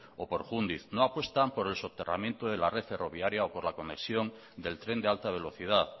o por jundiz no apuestan por el soterramiento de la red ferroviaria o por la conexión del tren de alta velocidad